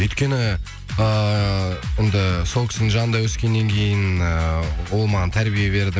өйткені эээ енді сол кісінің жанында өскеннен кейін эээ ол маған тәрбие берді